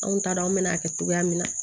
Anw t'a dɔn an bɛn'a kɛ cogoya min na